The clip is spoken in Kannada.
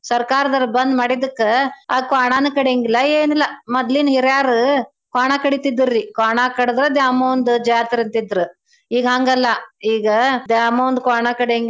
ಸರ್ಕಾರ್ದರ್ ಬಂದ್ ಮಾಡಿದಕ್ಕ ಆ ಕ್ವಾಣಾನೂ ಕಡ್ಯಂಗಿಲ್ಲಾ ಏನಿಲ್ಲ ಮೊದ್ಲಿನ್ ಹಿರ್ಯಾರೂ ಕ್ವಾಣಾಕಡಿತಿದ್ರರೀ ಕ್ವಾಣಾಕಡ್ದ ದ್ಯಾಮವ್ವಂದು ಜಾತ್ರೀ ಅಂತಿದ್ರೂ. ಈಗ್ ಹಂಗಲ್ಲಾ ಈಗ ದ್ಯಾಮವ್ವಂದ್ ಕ್ವಾಣಾ ಕಡ್ಯಂಗಿಲ್ಲಾ.